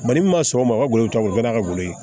Mali min ma sɔn o ma o ka bolo ta o kɛra ka bolo ye